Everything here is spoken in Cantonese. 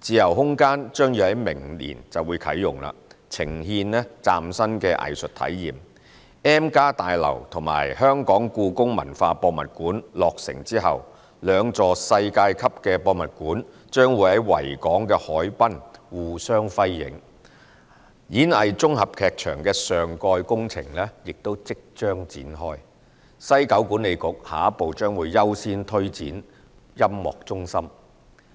自由空間將在明年啟用，呈獻嶄新的藝術體驗 ；M+ 大樓和香港故宮文化博物館落成後，兩座世界級博物館將在維港海濱互相輝映；演藝綜合劇場的上蓋工程亦即將開展；西九文化區管理局下一步將優先推展音樂中心。